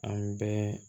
An bɛɛ